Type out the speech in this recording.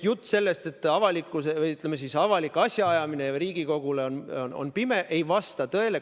Jutt sellest, et avalik asjaajamine ka Riigikogule on pime, ei vasta tõele.